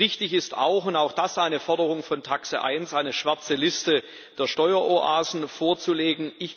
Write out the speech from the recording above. Richtig ist auch und auch das ist eine Forderung von TAXE 1 eine schwarze Liste der Steueroasen vorzulegen.